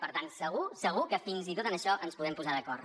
per tant segur segur que fins i tot en això ens podem posar d’acord